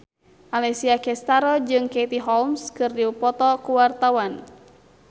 Alessia Cestaro jeung Katie Holmes keur dipoto ku wartawan